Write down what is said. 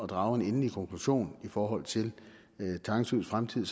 drage en endelig konklusion i forhold til tange søs fremtid